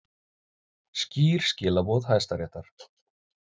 Skýr skilaboð Hæstaréttar